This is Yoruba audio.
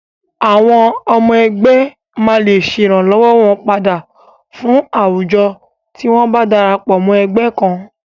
Àwọn ọmọ ẹgbẹ́ máa lè ṣe ìrànlọ́wọn padà fún àwùjo tí wọn bá darapọ̀ ẹgbẹ́ kan.